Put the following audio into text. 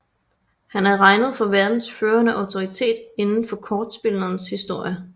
Han er regnet for verdens førende autoritet indenfor kortspillenes historie